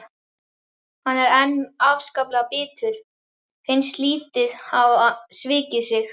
Hann er enn afskaplega bitur, finnst lífið hafa svikið sig.